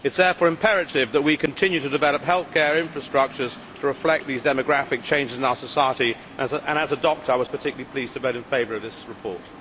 It is therefore imperative that we continue to develop healthcare infrastructures to reflect these demographic changes in our society, and as a doctor I was particularly pleased to vote in favour of this report.